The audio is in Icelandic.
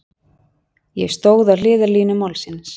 Ég stóð á hliðarlínu málsins.